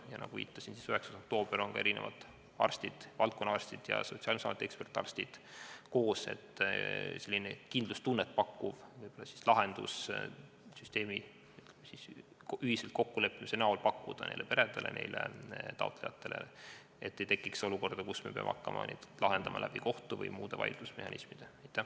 Ja nagu ma viitasin, tulevad 9. oktoobril kokku eri valdkondade arstid ja Sotsiaalkindlustusameti ekspertarstid, et selline kindlustunnet pakkuv lahendus ühiselt kokku leppida ja neile peredele, taotlejatele välja pakkuda, et ei tekiks olukorda, kus me peame hakkama neid olukordi lahendama kohtu või muude vaidlusmehhanismide kaudu.